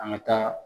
An ka taa